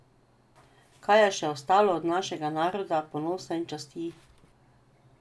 Kaj je še ostalo od našega naroda, ponosa in časti?